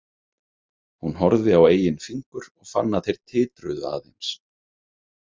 Hún horfði á eigin fingur og fann að þeir titruðu aðeins.